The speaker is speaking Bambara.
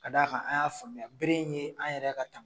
Ka da kan an y'a faamuya bere in ye an yɛrɛ ka taama